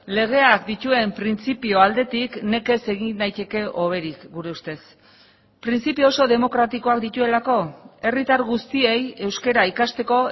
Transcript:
legeak dituen printzipio aldetik nekez egin daiteke hoberik gure ustez printzipio oso demokratikoak dituelako herritar guztiei euskara ikasteko